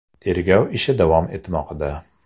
Tergov ishi davom etmoqda.